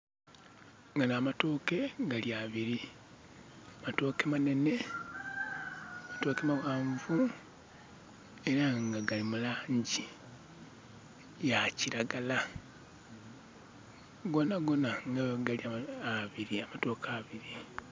Gano amatooke gali abiri. Matooke manene, matooke mawanvu, era nga gali mulangi ya kiragala gonagona nga bwe gali amatooke abiri